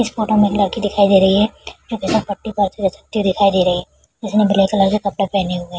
इस फोटो में एक लड़की दिखाई दे रही है फिसलपट्टी पर दिखाई दे रही है जिसने ब्लैक कलर का कपड़ा पहने हुए है।